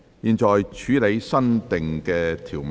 現在處理新訂條文。